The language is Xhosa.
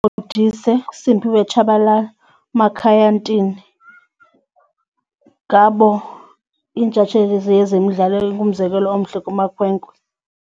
Modise, uSimphiwe Tshabalala, uMakhaya Ntini, ngabo iintshatsheli zezemidlalo umzekelo omhle kumakhwenkwe.